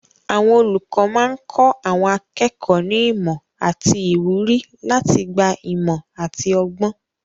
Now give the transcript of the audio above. Àwọn olùkọ́ máa ń kọ́ àwọn akẹ́kọ̀ọ́ ní ìmọ̀ àti ìwúrí láti gba ìmọ̀ àti ọgbọ́n.